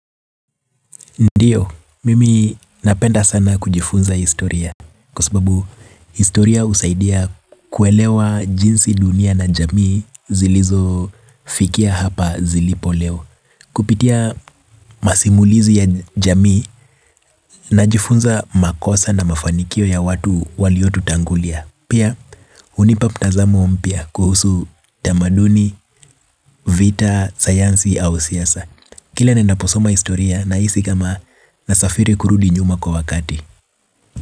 Ndiyo, mimi napenda sana kujifunza historia kwa sababu historia husaidia kuelewa jinsi dunia na jamii zilizo fikia hapa zilipo leo. Kupitia masimulizi ya jamii najifunza makosa na mafanikio ya watu walio tutangulia. Pia, hunipa mtazamo mpya kuhusu tamaduni, vita, sayansi au siasa. Kila ninapo soma historia nahisi kama nasafiri kurudi nyuma kwa wakati.